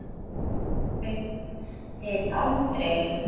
Fóruð þið aldrei?